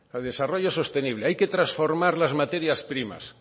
desarrollo sostenible hay que transformar las materias primas